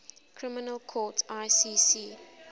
criminal court icc